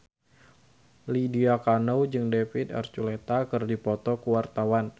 Lydia Kandou jeung David Archuletta keur dipoto ku wartawan